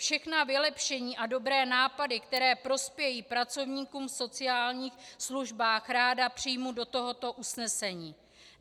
Všechna vylepšení a dobré nápady, které prospějí pracovníkům v sociálních službách, ráda přijmu do tohoto usnesení.